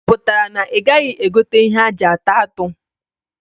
Ọ pụtara na ị gaghị egote ihe aji ata atụ?